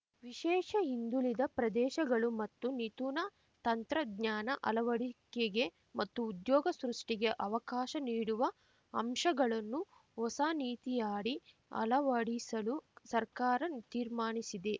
ವಿಶೇಷ ಹಿಂದುಳಿದ ಪ್ರದೇಶಗಳು ಮತ್ತು ನಿತೂತನ ತಂತ್ರಜ್ಞಾನ ಅಳವಡಿಕೆಗೆ ಮತ್ತು ಉದ್ಯೋಗ ಸೃಷ್ಟಿಗೆ ಅವಕಾಶ ನೀಡುವ ಅಂಶಗಳನ್ನು ಹೊಸನೀತಿಯಡಿ ಅಳವಡಿಸಲು ಸರ್ಕಾರ ತೀರ್ಮಾನಿಸಿದೆ